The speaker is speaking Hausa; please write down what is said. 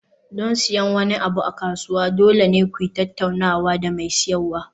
Don siyan wani abu a kasuwa, dole ne ku yi tattaunawa da mai siyarwa.